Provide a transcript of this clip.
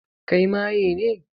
Kai maye ne?